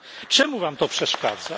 Czemu wam to przeszkadza?